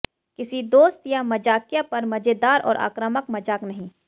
किसी दोस्त या मज़ाकिया पर मज़ेदार और आक्रामक मजाक नहीं